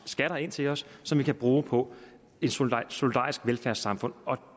skatter ind til os som vi kan bruge på et solidarisk velfærdssamfund